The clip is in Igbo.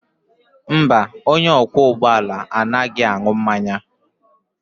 Mba, onye ọkwọ ụgbọ ala anaghị aṅụ mmanya